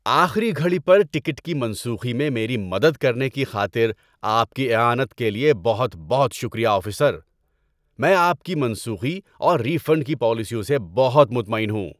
آخری گھڑی پر ٹکٹ کی منسوخی میں میری مدد کرنے کی خاطر آپ کی اعانت کے لیے بہت بہت شکریہ، آفیسر۔ میں آپ کی منسوخی اور ری فنڈ کی پالیسیوں سے بہت مطمئن ہوں۔